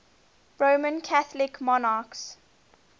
roman catholic monarchs